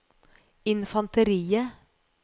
infanteriet